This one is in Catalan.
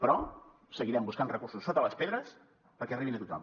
però seguirem buscant recursos sota les pedres perquè arribin a tothom